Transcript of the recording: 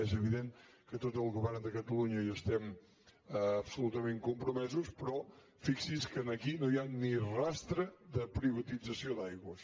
és evident que tot el govern de catalunya hi estem absolutament compromesos però fixi’s que aquí no hi ha ni rastre de privatització d’aigües